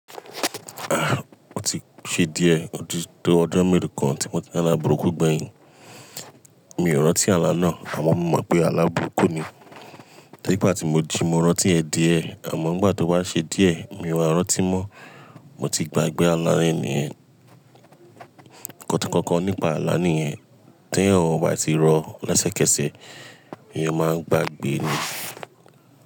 Ah, mo ti ṣe díẹ̀ otó to ọjọ́ mélò kan tí mo ti rí la alàburuku gbẹ̀yìn. Mi ò rọ́tí ààlà náà àmọ́ mo mọ̀ pé alàburuku ni. Nipà tí mo jí mo rọ́tí ẹ díẹ̀ àmọ́ nígbà tó wá ṣe díẹ̀ mi ò wa rọ́tí mọ́. Mo ti gba gbẹ́ ààlà yen ní yẹ̀ niyen. Kọ̀tànkọ̀tàn nípa ààlà yín tí ẹ̀ ò wà tí rọ lásẹ́kẹ́sẹ̀ èyàn máa gbàgbé ní.